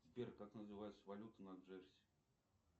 сбер как называется валюта на джерси